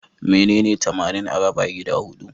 Menene tamanin a raba gida huɗu?